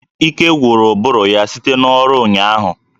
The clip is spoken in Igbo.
Ike gwụrụ ụbụrụ ya site n'ọrụ ụnyaahụ